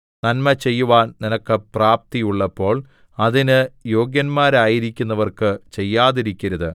നന്മ ചെയ്യുവാൻ നിനക്ക് പ്രാപ്തിയുള്ളപ്പോൾ അതിന് യോഗ്യന്മാരായിരിക്കുന്നവർക്ക് ചെയ്യാതിരിക്കരുത്